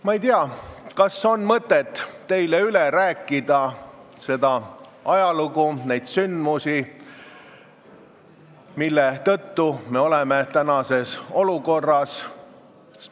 Ma ei tea, kas on mõtet teile üle rääkida seda ajalugu, neid sündmusi, mille tõttu me tänases olukorras oleme.